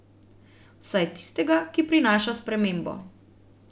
Vsaj tistega, ki prinaša spremembo.